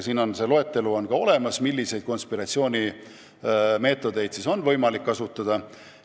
On olemas loetelu, milliseid konspiratsioonimeetodeid on võimalik kasutada.